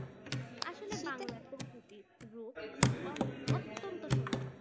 আসলে বাংলার প্রকৃতির রূপ অত্যন্ত সুন্দর।